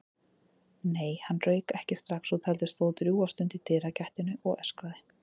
Nei, hann rauk ekki strax út, heldur stóð drjúga stund í dyragættinni og öskraði.